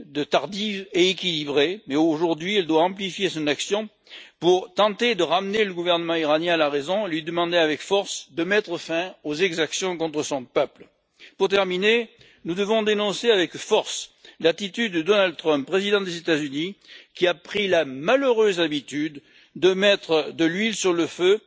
tardive et d'équilibrée mais, aujourd'hui, elle doit amplifier son action pour tenter de ramener le gouvernement iranien à la raison, lui demander avec force de mettre fin aux exactions contre son peuple. Pour terminer, nous devons dénoncer avec force l'attitude de Donald Trump, président des États Unis, qui a pris la malheureuse habitude de mettre de l'huile sur le feu